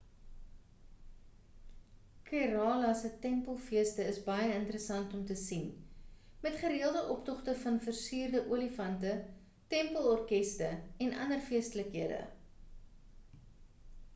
kerala se tempelfeeste is baie interessant om te sien met gereëlde optogte van versierde olifante tempel orkeste en ander feestelikhede